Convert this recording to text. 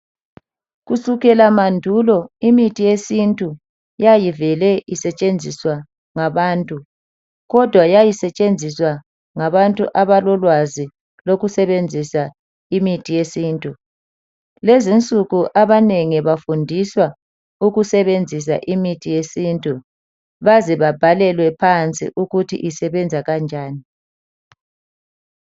Kusukela mandulo imithi yesintu yayivele isetshenziswa ngabantu, kodwa yayisetshenziswa ngabantu abalolwazi lokusebenzisa imithi yesintu .Kulezinsunku abanengi bafundiswa ukusebenzisa imithi yesintu baze babhalelwe phansi ukuthi isebenza kanjani.